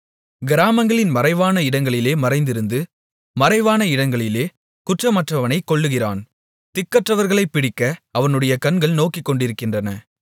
கிராமங்களின் மறைவான இடங்களிலே மறைந்திருந்து மறைவான இடங்களிலே குற்றமற்றவனைக் கொல்லுகிறான் திக்கற்றவர்களைப் பிடிக்க அவனுடைய கண்கள் நோக்கிக்கொண்டிருக்கின்றன